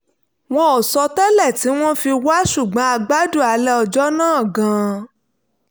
wọn ò sọ tẹ́lẹ̀ tí wọ́n fi wá ṣùgbọ́n a gbádùn alẹ́ ọjọ́ náà gan-an